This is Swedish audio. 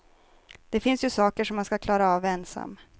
Det finns ju saker som man ska klara av ensam.